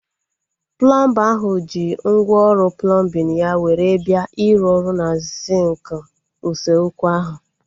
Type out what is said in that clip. Plọmba ahụ ji ngwá ọrụ plọmbin ya were bịa iru ọrụ na sinki usekwu ahu